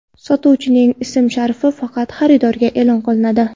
Sotuvchining ism-sharifi faqat xaridorga e’lon qilinadi.